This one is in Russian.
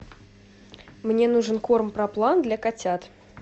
мне нужен корм проплан для котят